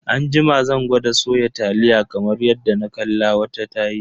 Anjima zan gwada soya taliya kamar yadda na kalla wata tayi.